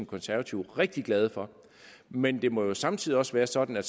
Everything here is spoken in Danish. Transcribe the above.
konservative rigtig glade for men det må jo samtidig også være sådan at